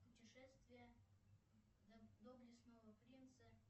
путешествие доблестного принца